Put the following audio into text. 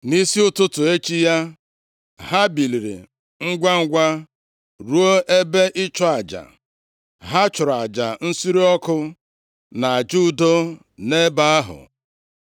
Nʼisi ụtụtụ echi ya, ha biliri ngwangwa rụọ ebe ịchụ aja. Ha chụrụ aja nsure ọkụ, na aja udo nʼebe ahụ.